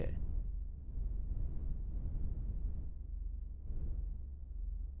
अतः क्योंकि हमें यूजरनेम और पासवर्ड मिल चुका है यह सही है